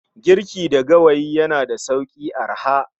Giriki da gawayi yana da sauki/arha